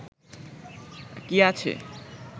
কী আছে